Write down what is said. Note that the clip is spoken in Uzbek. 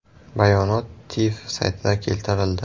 Bayonot TIV saytida keltirildi .